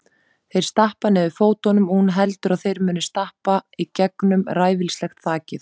Þeir stappa niður fótunum og hún heldur að þeir muni stappa í gegnum ræfilslegt þakið.